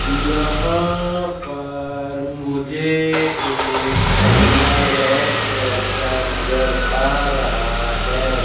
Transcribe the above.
यहां पर मुझे एक गमला रेड कलर का नजर आ रहा है।